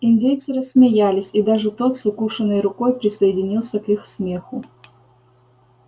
индейцы рассмеялись и даже тот с укушенной рукой присоединился к их смеху